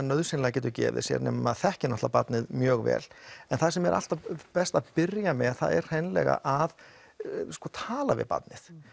nauðsynlega gefið sér nema maður þekki náttúrulega barnið mjög vel en það sem er alltaf best að byrja með það er hreinlega að tala við barnið